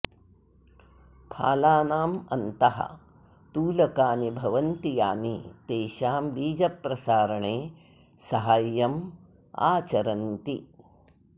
फालानाम् अन्तः तूलकानि भवन्ति यानि तेषां बीजप्रसारणे सहाय्यम् आचरन्ति